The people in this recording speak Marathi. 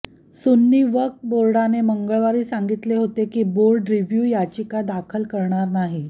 सुन्नी वक्फ बोर्डाने मंगळवारी सांगितले होते की बोर्ड रिव्ह्यू याचिका दाखल करणार नाही